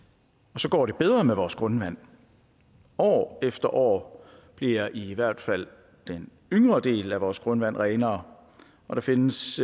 og så går det bedre med vores grundvand år efter år bliver i hvert fald den yngre del af vores grundvand renere og der findes